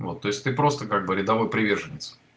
вот то есть ты просто как бы рядовой приверженец